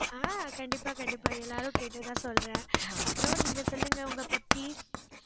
ஆஹ் கண்டிப்பா, கண்டிப்பா எல்லாரும் கேட்டதா சொல்றேன். அப்புறம், நீங்க சொல்லுங்க உங்களை பத்தி